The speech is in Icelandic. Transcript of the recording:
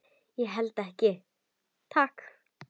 Ég held ekki, takk.